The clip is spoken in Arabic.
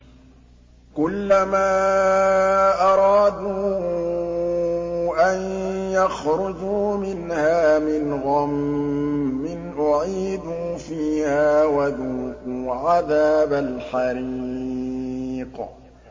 كُلَّمَا أَرَادُوا أَن يَخْرُجُوا مِنْهَا مِنْ غَمٍّ أُعِيدُوا فِيهَا وَذُوقُوا عَذَابَ الْحَرِيقِ